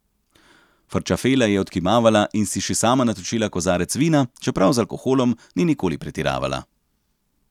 Frčafela je odkimavala in si še sama natočila kozarec vina, čeprav z alkoholom ni nikoli pretiravala.